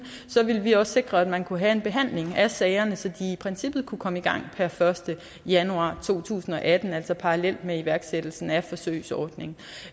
så ville vi også sikre at man kunne have en behandling af sagerne så de i princippet kunne komme i gang per første januar to tusind og atten altså parallelt med iværksættelsen af forsøgsordningen